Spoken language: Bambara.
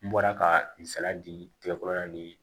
N bɔra ka n saladi tigɛ kɔrɔ na ni